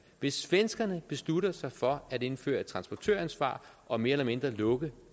hvis svenskerne beslutter sig for at indføre et transportøransvar og mere eller mindre lukke